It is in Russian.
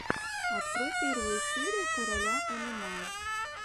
открой первую серию короля мма